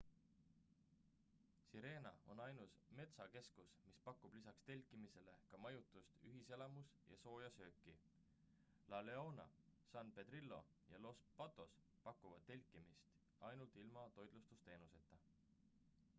sirena on ainus metsakeskus mis pakub lisaks telkimisele ka majutust ühiselamus ja sooja sööki la leona san pedrillo ja los patos pakuvad telkimist ainult ilma toitlustusteenuseta